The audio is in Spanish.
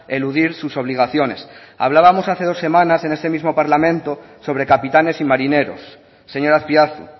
eludir sus obligaciones hablábamos hace dos semanas en este mismo parlamento sobre capitanes y marineros señor azpiazu